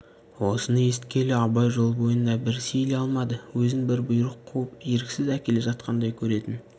осыны есіткелі абай жол бойында бір сейіле алмады өзін бір бұйрық қуып еріксіз әкеле жатқандай көретін